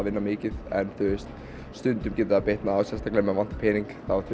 vinna mikið en stundum getur það bitnað já sérstaklega ef mig vantar pening þú